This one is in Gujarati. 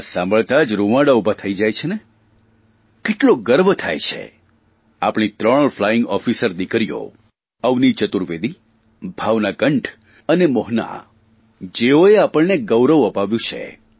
આ સાંભળતાં જ રૂંવાડા ઉભાં થઇ જાય છે ને કેટલો ગર્વ થાય છે આપણી ત્રણ ફ્લાઇંગ ઓફિસર દિકરીઓ અવનિ ચતુર્વેદી ભાવના કંઠ અને મોહના જેઓએ આપણને ગૌરવ અપાવ્યું છે